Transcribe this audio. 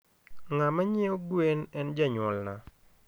Ngama nyieo gwen en janyuolna